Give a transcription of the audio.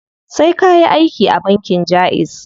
Sai kayi aiki a bankin jaiz.